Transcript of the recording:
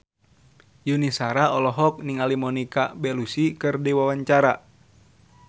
Yuni Shara olohok ningali Monica Belluci keur diwawancara